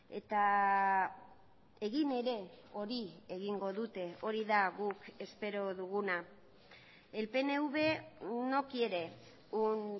eta egin ere hori egingo dute hori da guk espero duguna el pnv no quiere un